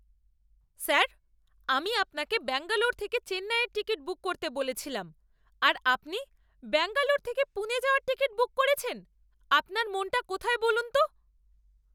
Sir! আমি আপনাকে ব্যাঙ্গালোর থেকে চেন্নাইয়ের টিকিট বুক করতে বলেছিলাম আর আপনি ব্যাঙ্গালোর থেকে পুনে যাওয়ার টিকিট বুক করেছেন। আপনার মনটা কোথায় বলুন তো?